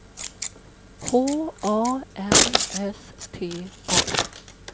H A N S T A